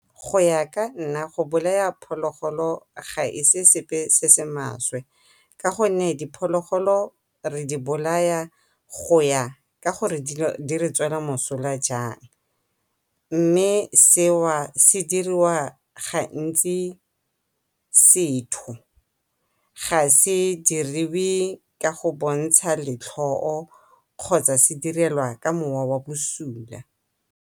Go ya ka nna go bolaya phologolo ga e se sepe se se maswe ka go nne diphologolo re di bolaya go ya ka gore di re tswela mosola jang, mme seo se diriwa gantsi setho ga se diriwe ka go bontsha letlhoo kgotsa se direlwa ka moo wa bosula.